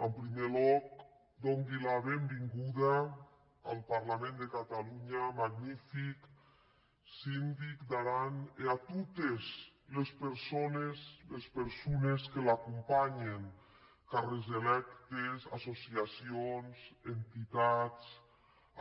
en prumèr lòc dongui era benvenguda en parlament de catalon·ha ath magnific sindic d’aran e a totes les persones que l’acompanyen càrrecs electes associacions enti·tats